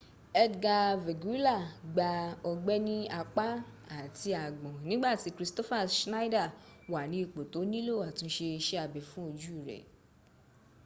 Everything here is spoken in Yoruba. edgar veguilla gba ọgbẹ́ ní apá ati àgbọ̀ǹ nígbà tí kristoffer scheider wà ní ipò tó nílò àtúnsẹ isé abẹ fún ojú rè